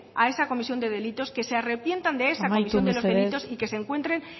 a esa comisión de delitos que se arrepientan de esa comisión de los delitos amaitu mesedez y que se encuentren